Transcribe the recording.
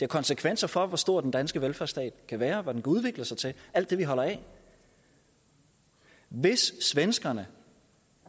konsekvenser for hvor stor den danske velfærdsstat kan være og hvad den kan udvikle sig til alt det vi holder af hvis svenskerne